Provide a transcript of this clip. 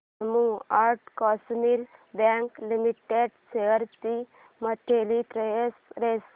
Jammu and Kashmir bank limited shares ची monthly price range